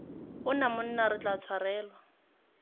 ona monna re tla tshwanelwa